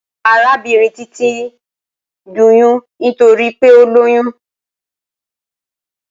Arabinrin Titi n ni idunnu nitori pe o loyun